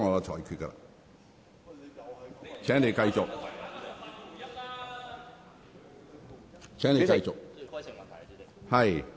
請你繼續發言。